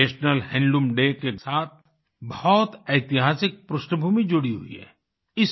national handloom day के साथ बहुत ऐतिहासिक पृष्ठभूमि जुड़ी हुई है